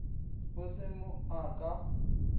e se mo a ka